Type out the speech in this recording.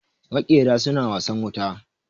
Makera suna wasan wuta